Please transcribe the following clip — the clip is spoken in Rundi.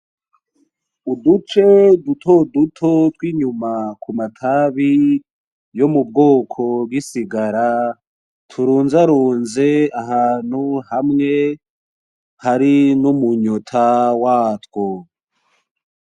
Uduce dutoduto twinyuma kumatabi, yomubwoko bwisigara, turunzarunze ahantu hamwe hari numunyota watwo .